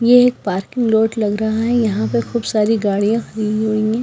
ये एक parking road लग रहा है यहां पे खूब सारी गाड़ियां खड़ी हुई है।